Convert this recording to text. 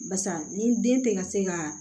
Barisa ni den tɛ ka se ka